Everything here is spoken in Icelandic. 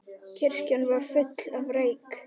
Kirkjan var full af reyk.